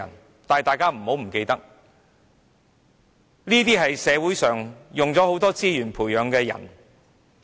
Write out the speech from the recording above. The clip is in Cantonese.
不過，大家不要忘記，他們都是社會花了不少資源培養的人。